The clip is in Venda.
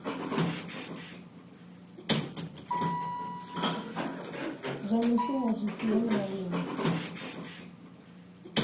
zwa mishumo zwi siho mulayoni